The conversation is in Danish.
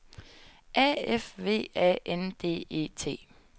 A F V A N D E T